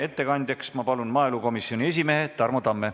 Ettekandjaks palun maaelukomisjoni esimehe Tarmo Tamme.